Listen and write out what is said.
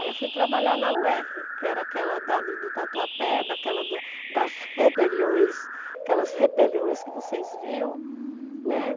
Aí eu fui trabalhar na Uerre, que era aquela dali do Tatuapé, daquela da das rebeliões, aquelas rebeliões que vocês viam, né?